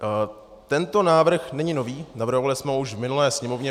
Tento návrh není nový, navrhovali jsme ho už v minulé Sněmovně.